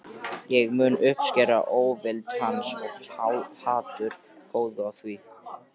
Ég mun uppskera óvild hans- og hatur, gáðu að því.